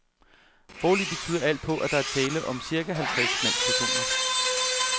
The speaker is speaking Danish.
Foreløbig tyder alt på, at der er tale om cirka halvtreds mandspersoner.